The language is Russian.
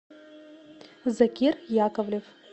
закир яковлев